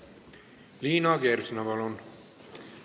Liina Kersna, palun!